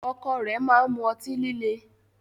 Ọkọ rẹ ma n mú ọ̀tí-lílẹ̀